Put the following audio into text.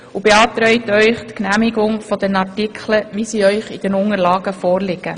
Wir beantragt Ihnen die Annahme der Artikel, wie sie in den Unterlagen vorliegen.